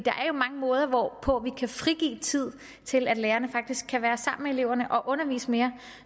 er jo mange måder hvorpå vi kan frigive tid til at lærerne faktisk kan være sammen med eleverne og undervise mere